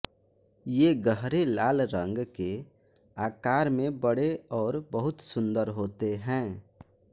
ये गहरे लाल रंग के आकार में बड़े और बहुत सुंदर होते हैं